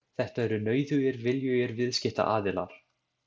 Þetta eru nauðugir viljugir viðskiptaaðilar.